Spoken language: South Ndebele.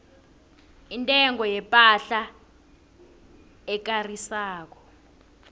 intengo yepahla ekarisako